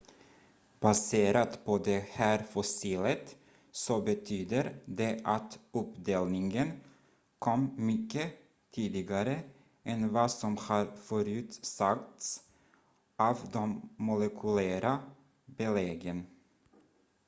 """baserat på det här fossilet så betyder det att uppdelningen kom mycket tidigare än vad som har förutsagts av de molekylära beläggen.